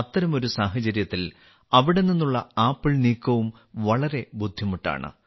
അത്തരമൊരു സാഹചര്യത്തിൽ അവിടെ നിന്നുള്ള ആപ്പിൾ നീക്കവും വളരെ ബുദ്ധിമുട്ടാണ്